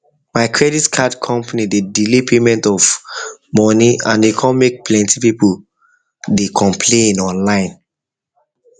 my credit card company dey delay payment of money and e come make plenty people dey people dey complain online